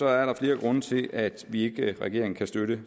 er der flere grunde til at vi ikke i regeringen kan støtte